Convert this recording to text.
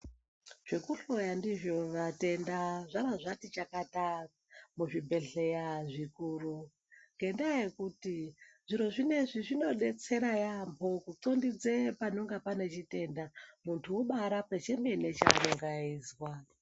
Zvekuhloya ndizvo vatenda zvara zvati chakata muzvibhehleya zvikuru, ngendaa yekuti zviro zvinezvi zvinodetsera yamho kunxondidza panenge pane chitenda muntu obarapwa chemene chaanenge eizwa.